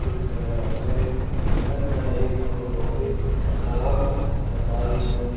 तरह से बगल में एक दो लोहे की पॉल पोल लगाई गई।